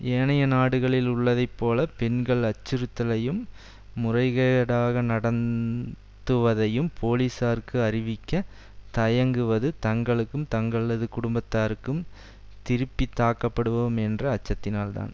ஏனைய நாடுகளில் உள்ளதை போல பெண்கள் அச்சுறுத்தலையும் முறைகேடாக நடந்துவதையும் போலீசாருக்கு அறிவிக்க தயங்குவது தாங்களுக்கும் தங்களது குடும்பத்தாருக்கும் திருப்பி தாக்கப்படுவோம் என்ற அச்சத்தினால்தான்